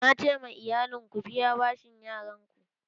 Na ce ma iyalin 'Ku biya bashin yaron ku'!